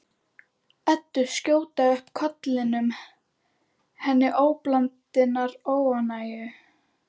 Eddu skjóta upp kollinum, henni til óblandinnar ánægju.